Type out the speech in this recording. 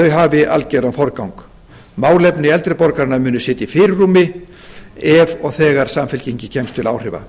hafi algjöran forgang málefni eldri borgaranna munu sitja í fyrirrúmi ef og þegar samfylkingin kemst til áhrifa